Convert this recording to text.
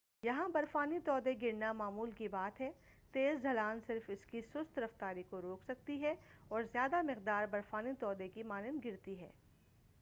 یہاں برفانی تودے گرنا معمول کی بات ہے تیز ڈھلان صرف اسکی سست رفتاری کو روک سکتی ہے اور زیادہ مقدار برفانی تودے کی مانند گرتی ہے